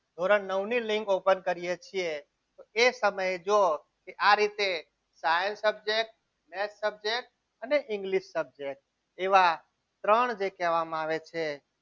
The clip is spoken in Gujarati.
ધોરણ નવ ની લીંક open કરીએ છીએ એ સમયે જો આ રીતે science subject અને English subject એવા ત્રણ જે કહેવામાં આવે છે.